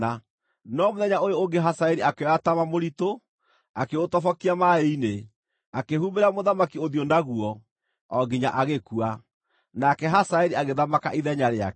No mũthenya ũyũ ũngĩ Hazaeli akĩoya taama mũritũ, akĩũtobokia maaĩ-inĩ, akĩhumbĩra mũthamaki ũthiũ naguo, o nginya agĩkua. Nake Hazaeli agĩthamaka ithenya rĩake.